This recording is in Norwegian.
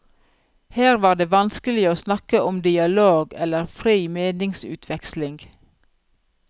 Her var det vanskelig å snakke om dialog, eller fri meningsutveksling.